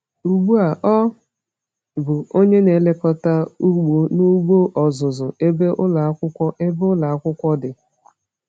Ugbu a ọ bụ onye na-elekọta ugbo n’ugbo ọzụzụ, ebe ụlọ akwụkwọ ebe ụlọ akwụkwọ dị.